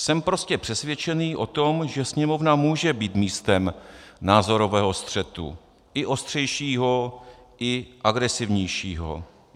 Jsem prostě přesvědčený o tom, že Sněmovna může být místem názorového střetu, i ostřejšího, i agresivnějšího.